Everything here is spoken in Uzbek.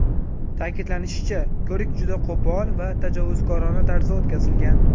Ta’kidlanishicha, ko‘rik juda qo‘pol va tajovuzkorona tarzda o‘tkazilgan.